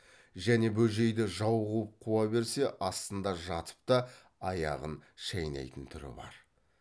және бөжейді жау қуып қуа берсе астында жатып та аяғын шайнайтын түрі бар